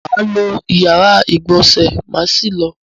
Mà á lo ìyára-ìgbọ̀nsẹ̀ má sì lọ.